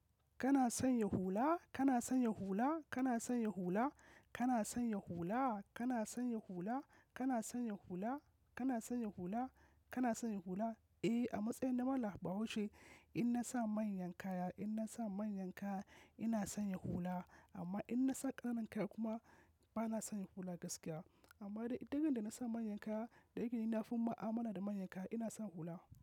Kana sanya hula? Kana son ya hula? Kana son ya hula? Kana son ya hula? Kana son ya hula? Kana son ya hula? Kana son ya hula? Kana son ya hula? Eh, a matsayin na mallan bahaushe, in na sa manyan kaya, in na sa manyan kaya, ina sanya hula. Amma in na sa ƙananan kaya kuma bana sanya hula gaskiya. Amma duk randa na sa manyan kaya, dayake na fi, mu'amala da manyan kaya, ina sa hula.